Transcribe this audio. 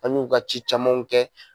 An y'u ka ci camanw kɛ